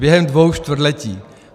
Během dvou čtvrtletí!